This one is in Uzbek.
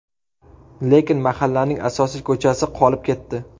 Lekin mahallaning asosiy ko‘chasi qolib ketdi.